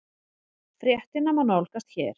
Fréttina má nálgast hér